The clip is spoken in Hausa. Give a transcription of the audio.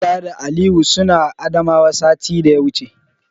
Musa da Aliyu suna Adamawa satin daya wuce.